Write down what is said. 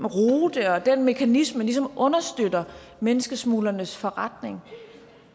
rute og den mekanisme ligesom understøtter menneskesmuglernes forretning